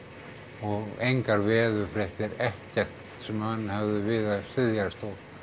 og engar veðurfréttir ekkert sem menn höfðu við að styðjast